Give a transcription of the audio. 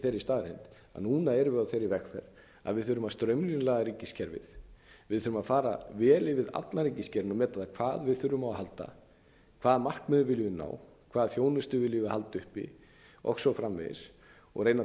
staðreynd að núna erum við á þeirri vegferð að við þurfum að straumlínulaga ríkiskerfið við þurfum að fara vel yfir allan ríkisgeirann og meta hverju við þurfum á að halda hvaða markmiðum við viljum ná hvað þjónustu við viljum halda uppi og svo framvegis og reyna